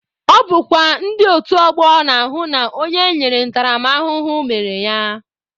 Ọ bụkwa ndị otu ọgbọ na-ahụ na onye enyere ntaramahụhụ mere ya.